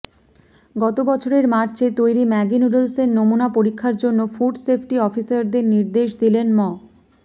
গত বছরের মার্চে তৈরি ম্যাগি নুডলসের নমুনা পরীক্ষার জন্য ফুড সেফটি অফিসারদের নির্দেশ দিলেন ম